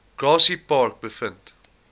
grassy park gevind